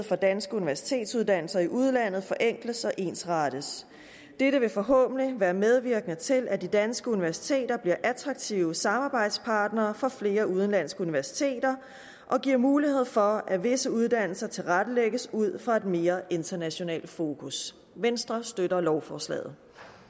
for danske universitetsuddannelser i udlandet forenkles og ensrettes dette vil forhåbentlig være medvirkende til at de danske universiteter bliver attraktive samarbejdspartnere for flere udenlandske universiteter og giver mulighed for at visse uddannelser tilrettelægges ud fra et mere internationalt fokus venstre støtter lovforslaget